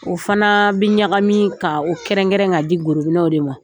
O fana bi ɲagami ka o kɛrɛnrɛn ka di gorobinɛw de ma.